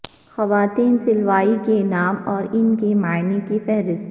خواتین سلاوی کے نام اور ان کے معانی کی فہرست